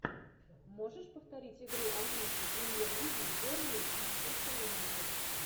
можешь повторить игру английской премьер лиги бернли с манчестер юнайтед